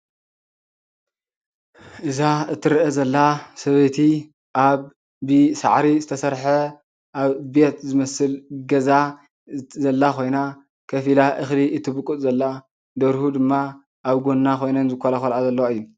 እዛ እትርአ ዘላ ሰበይቲ ኣብ ብሳዕሪ ዝተሰርሐ ኣብ ቤት ዝመስል ገዛ ዘላ ኮይና፣ ኮፍ ኢላ እክሊ እትብቁፅ ዘላ ደርሁ ድማ ኣብ ጎና ኮይነን ዝኮላኮልኣ ዘለዋ እዩ ።